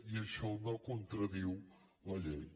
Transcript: i això no contradiu la llei